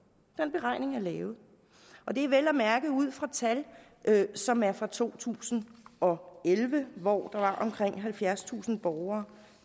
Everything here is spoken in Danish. den beregning er lavet og det er vel at mærke ud fra tal som er fra to tusind og elleve hvor der var omkring halvfjerdstusind borgere